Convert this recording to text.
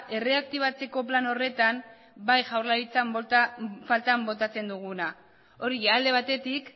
erreaktibatzeko plan horretan bai jaurlaritzan faltan botatzen duguna hori alde batetik